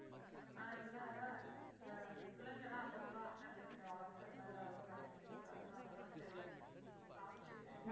அஹ் இல்ல இந்தப் பிள்ளைங்க தான் அப்பப்ப அண்ணன் பிள்ளைங்க உடம்பு சரில்ல ஏதாவது ஒண்ணு ஆகிட்டே இருக்கு அதனால தான் சரி காமிச்சு.